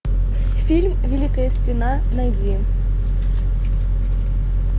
фильм великая стена найди